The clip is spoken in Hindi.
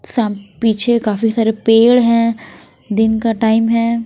साम पीछे काफी सारे पेड़ हैं दिन का टाइम है।